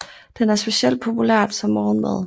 Den er specielt populært som morgenmad